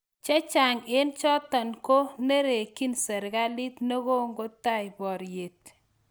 Che Chang eng chotok koko nerekyi serikalit ne kongotai boryet